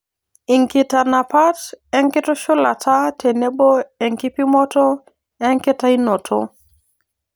inkitanapat enkitushulata tenebo enkipimoto enkitaînoto